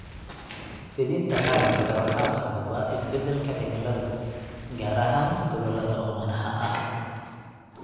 Fidinta xaalufka waxaa sababa isbeddelka cimilada, gaar ahaan gobollada oomanaha ah.